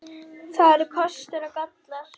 Það eru kostir og gallar.